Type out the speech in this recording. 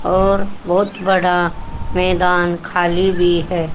और बहोत बड़ा मैदान खाली भी है।